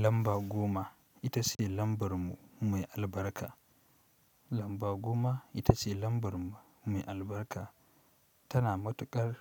Lamba goma ita ce lambar mu mai albarka. Lamba goma ita ce lambar mu mai albarka, tana matuƙar